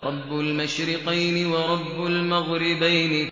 رَبُّ الْمَشْرِقَيْنِ وَرَبُّ الْمَغْرِبَيْنِ